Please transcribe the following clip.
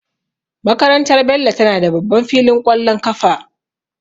Makarantar Bello tana da babban filin ƙwallon kafa.